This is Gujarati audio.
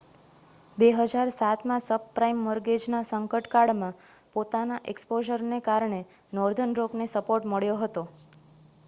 2007માં સબપ્રાઇમ મૉર્ગેજના સંકટકાળમાં પોતાના એક્સ્પોઝરને કારણે નૉર્ધર્ન રૉકને સપોર્ટ મળ્યો હતો